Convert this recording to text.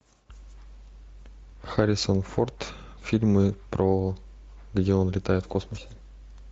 харрисон форд фильмы про где он летает в космосе